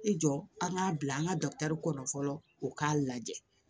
I jɔ an k'a bila an ka kɔnɔ fɔlɔ u k'a lajɛ